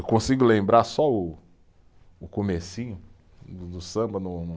Eu consigo lembrar só o, o comecinho do do samba no, no